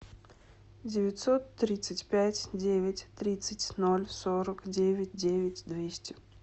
девятьсот тридцать пять девять тридцать ноль сорок девять девять двести